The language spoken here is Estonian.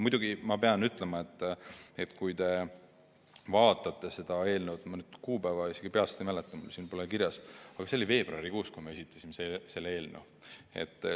Muidugi ma pean ütlema, et kui te vaatate seda eelnõu, ma kuupäeva peast ei mäleta, siin pole seda kirjas, me juba veebruarikuus esitasime selle eelnõu.